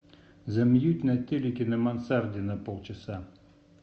замьють на телике на мансарде на полчаса